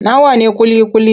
Nawa ne ƙuli-ƙuli?